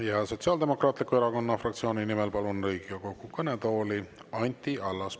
Ja Sotsiaaldemokraatliku Erakonna fraktsiooni nimel palun Riigikogu kõnetooli Anti Allase.